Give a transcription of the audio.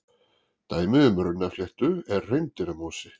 Dæmi um runnafléttu er hreindýramosi.